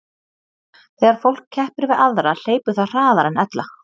Þegar fólk keppir við aðra hleypur það hraðar en ella.